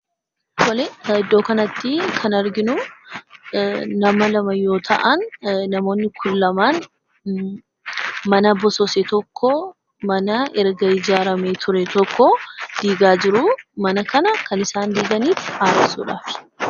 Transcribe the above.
Tole, iddoo kanatti kan arginuu, nama lama yoo ta'an, namoonni kun lamaan mana bosose tokkoo mana erga ijaaramee ture tokkoo diigaa jiruu mana kanaa kan isaan diiganiif haaressuudhaafi